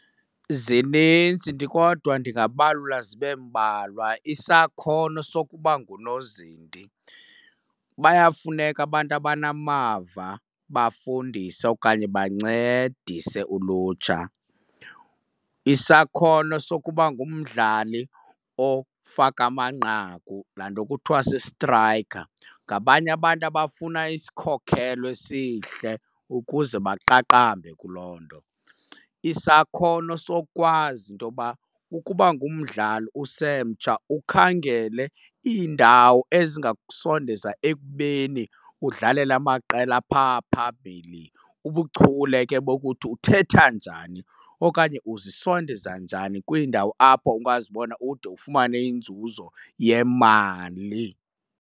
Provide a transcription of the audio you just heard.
Zinintsi kodwa ndingabalula zibe mbalwa. Isakhono sokuba ngunozinti, bayafumaneka abantu abanamava bafundise okanye bancedise ulutsha. Isakhono sokuba ngumdlali ofaka amanqaku, laa nto kuthiwa si-striker, ngabanye abantu abafuna isikhokhelo esihle ukuze baqaqambe kuloo nto. Isakhono sokwazi intoba ukuba ngumdlali usemtsha ukhangele iindawo ezingakusondeza ekubeni udlalele amaqela aphaa phambili. Ubuchule ke bokuthi uthetha njani okanye uzisondeza njani kwiindawo apho ungazibona ude ufumane inzuzo yemali.